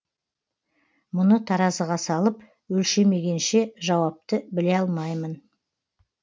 мұны таразыға салып өлшемегенше жауапты біле алмаймын